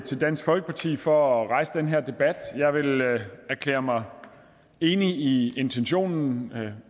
til dansk folkeparti for at rejse den her debat jeg vil erklære mig enig i intentionen og